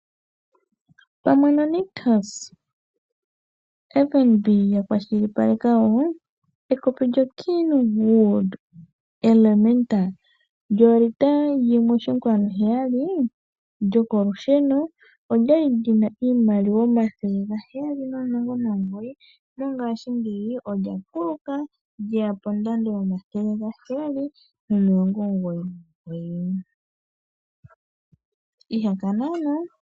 Pamwe no Nictus, FNB yakwashilipaleka wo, ekopi lyo Kenwood Elementa Djo 1,7 L djoko lushone odjali djina iimaliwa N$ 719 mongaashingeyi odja kuluka djeya kondando N$ 799 ihakana ano.